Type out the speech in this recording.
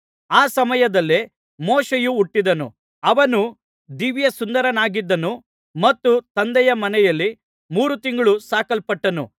ಆ ಸಮಯದಲ್ಲೇ ಮೋಶೆಯು ಹುಟ್ಟಿದನು ಅವನು ದಿವ್ಯಸುಂದರನಾಗಿದ್ದನು ಮತ್ತು ತಂದೆಯ ಮನೆಯಲ್ಲಿ ಮೂರು ತಿಂಗಳು ಸಾಕಲ್ಪಟ್ಟನು